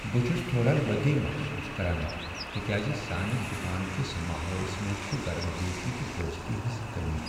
بہٕ چھس تھوڑا لو٘تی محسوس کران تکیازِ سانہِ دکان کس ماحولس منٛز چھ گرمجوشی تہٕ دوستی ہنٛز کمی۔